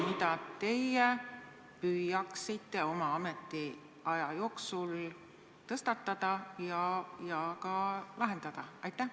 Mis probleemi teie püüate oma ametiaja jooksul tõstatada ja ka vähendada?